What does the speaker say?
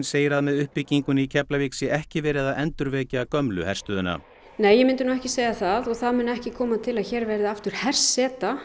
segir að með uppbyggingunni í Keflavík sé ekki verið að endurvekja gömlu herstöðina nei ég myndi ekki segja það það mun ekki koma til að hér verði aftur herseta